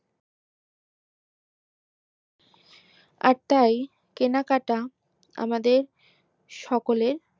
আর তাই কেনাকাটা আমাদের সকলের